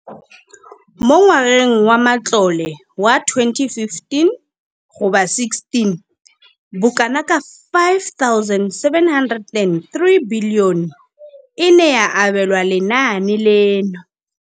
Mo ngwageng wa matlole wa 2015,16, bokanaka R5 703 bilione e ne ya abelwa lenaane leno.